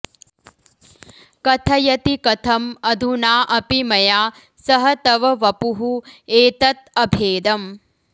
कथयति कथम् अधुना अपि मया सह तव वपुः एतत् अभेदम्